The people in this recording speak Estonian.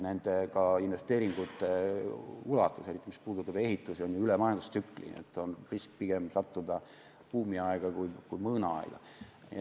Nende investeeringute ulatus, mis puudutab ehitust, on ju üle majandustsükli, nii et on risk sattuda pigem buumiaega kui mõõnaaega.